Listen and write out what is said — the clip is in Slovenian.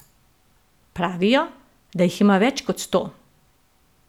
Pravijo, da jih ima več kot sto.